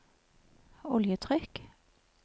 oljetrykk